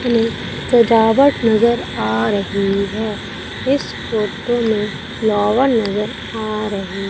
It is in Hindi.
इसमें सजावट नजर आ रही है इस फोटो में फ्लावर नजर आ रही--